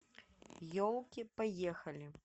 елки поехали